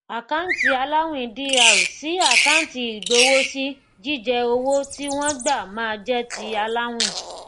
àkáǹtì aláwìn dr sí àkáǹtì ìgbowósí jíjẹ owó tí wón gbà ma jẹ ti aláwìn